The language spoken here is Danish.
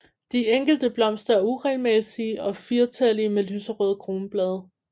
De enkelte blomster er uregelmæssige og firetallige med lyserøde kronblade